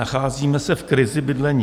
Nacházíme se v krizi bydlení.